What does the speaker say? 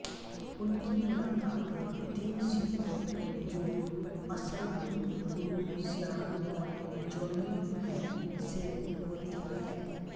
उनकी मुलाक़ात तीन सिखों जो असल में गुरु श्याम और जॉनी हैं से होती है